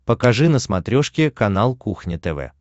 покажи на смотрешке канал кухня тв